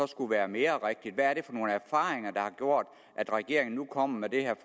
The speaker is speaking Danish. skulle være mere rigtigt hvad er det for nogle erfaringer der har gjort at regeringen nu kommer med det her